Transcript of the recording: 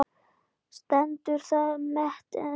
Stendur það met enn.